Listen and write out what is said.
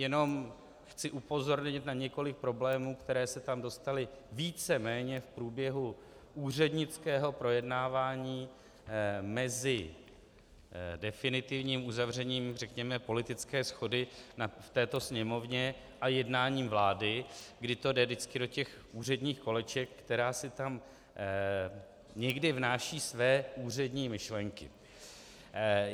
Jenom chci upozornit na několik problémů, které se tam dostaly víceméně v průběhu úřednického projednávání mezi definitivním uzavřením, řekněme, politické shody na této Sněmovně a jednáním vlády, kdy to jde vždycky do těch úředních koleček, která si tam někdy vnáší své úřední myšlenky.